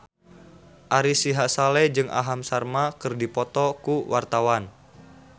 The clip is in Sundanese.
Ari Sihasale jeung Aham Sharma keur dipoto ku wartawan